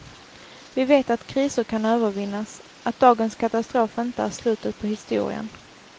Vi vet att kriser kan övervinnas, att dagens katastrof inte är slutet på historien.